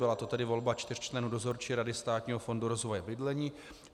Byla to tedy volba čtyř členů Dozorčí rady Státního fondu rozvoje bydlení.